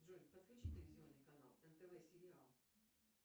джой подключи телевизионный канал нтв сериал